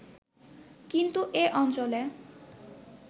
কিন্তু এ অঞ্চলে